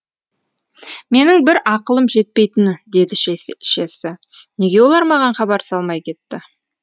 менің бір ақылым жетпейтіні деді шешесі неге олар маған хабар салмай кетті